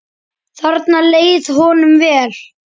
Þarna leið honum vel.